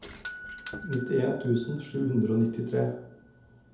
nittien tusen sju hundre og nittitre